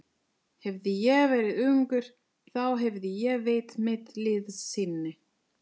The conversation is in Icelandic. Hefði ég verið ungur, þá hefði ég veitt mitt liðsinni.